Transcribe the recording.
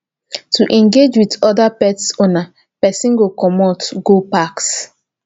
to engage with oda pet owners person go comot go packs